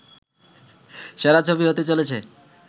সেরা ছবি হতে চলেছে